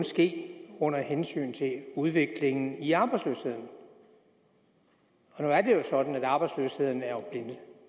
ske under hensyntagen udviklingen i arbejdsløsheden nu er det jo sådan at arbejdsløsheden er